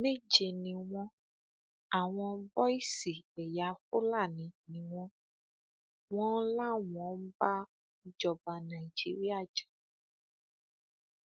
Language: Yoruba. méje ni wọn àwọn bọìsì ẹyà fúlàní ni wọn wọn láwọn ń bá ìjọba nàìjíríà jà